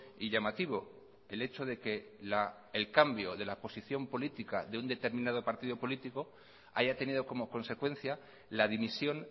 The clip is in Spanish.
y llamativo el hecho de que el cambio de la posición política de un determinado partido político haya tenido como consecuencia la dimisión